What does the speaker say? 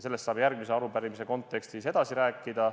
Sellest saab järgmise arupärimise kontekstis edasi rääkida.